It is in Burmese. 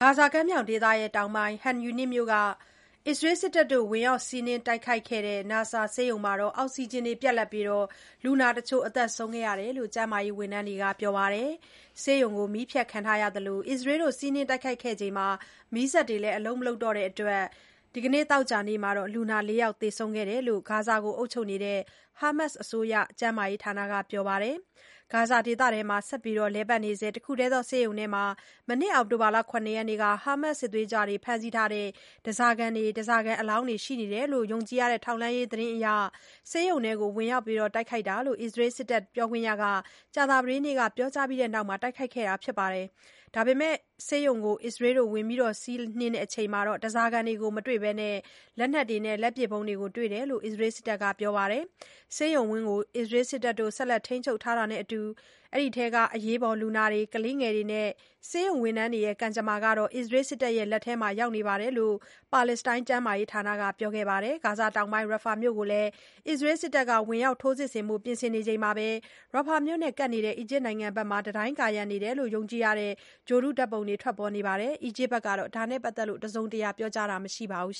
ဂါဇာကမ်းမြောင်ဒေသတောင်ပိုင်း Khan Yunis မြို့က အစ္စရေးစစ်တပ် ဝင်ရောက် စီးနင်းတိုက်ခိုက်ခဲ့တဲ့ Nasser ဆေးရုံမှာ အောက်စီဂျင်ပြတ်ပြီး လူနာတချို့ သေဆုံးခဲ့တယ်လို့ ကျန်းမာရေးဝန်ထမ်းတွေက ပြောပါတယ်။ ဆေးရုံမှာ မီးဖြတ်ခံထားရသလို အစ္စရေးတို့ စီးနင်းခဲ့ပြီးနောက် မီးစက်တွေလည်း အလုပ် မလုပ်တော့တဲ့အတွက် ဒီနေ့ သောကြာနေ့မှာ လူနာ ၄ ယောက်သေဆုံးခဲ့တယ်လို့ ဂါဇာကို အုပ်ချုပ်နေတဲ့ Hamas အစိုးရ ကျန်းမာရေးဌာနက ပြောပါတယ်။ ဂါဇာဒေသထဲမှာ ဆက်လက်လည်ပတ်နေဆဲ တခုထဲသော ဆေးရုံထဲမှာ မနှစ် အောက်တိုဘာ ၇ ရက်က Hamas စစ်သွေးကြွတွေ ဖမ်းဆီးထားတဲ့ ဓါးစာခံတွေ၊ ဓါးစာခံအလောင်းတွေရှိနေတယ်လို့ ယုံကြည်ရတဲ့ ထောက်လှမ်းရေးသတင်းအရ ဆေးရုံထဲကို ဝင်ရောက်တိုက်ခိုက်တာဖြစ်တယ်လို့ အစ္စရေး စစ်တပ်ပြောခွင့်ရက ကြာသပတေးနေ့က ပြောကြားပြီး တိုက်ခိုက်ခဲ့တာပါ။ ဒါပေမဲ့ ဆေးရုံကို ဝင်စီးပြီးနောက်မှာတော့ ဓါးစာခံတွေကို မတွေ့ဘဲ လက်နက်တွေ၊ လက်ပစ်ဗုံးတွေ တွေ့တယ်လို့ အစ္စရေးစစ်တပ်က ပြောပါတယ်။ ဆေးရုံဝန်းကို အစ္စရေးစစ်တပ် ဆက်လက်ထိန်းချုပ်ထားတာနဲ့အတူ အထဲက အရေးပေါ် လူနာတွေ၊ ကလေးငယ်တွေနဲ့ ဆေးရုံဝန်ထမ်းတွေရဲ့ ကံကြမ္မာဟာ အစ္စရေးစစ်တပ်လက်ထဲရောက်နေတယ်လို့ ပါလက်စတိုင်းကျန်းမာရေးဌာနက ပြောကြားခဲ့ပါတယ်။ ဂါဇာတောင်ပိုင်းက Rafah မြို့ကိုလည်း အစ္စရေးစစ်တပ်က ဝင်ရောက် ထိုးစစ်ဆင်ဖို့ ပြင်ဆင်နေချိန်မှာပဲ Rafah မြို့နဲ့ကပ်နေတဲ့ အီဂျစ်နိုင်ငံဘက်က တံတိုင်းကာရံနေတယ်လို့ ယုံကြည်ရတဲ့ ဂြိုလ်တုဓါတ်ပုံတွေ ထွက်ပေါ်လာပါတယ်။ အီဂျစ်အစိုးရဘက်ကတော့ ဒါနဲ့ပတ်သက်လို့ တစုံတရာ ပြောကြားခြင်း မရှိသေးပါဘူ